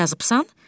Necə yazıbsan?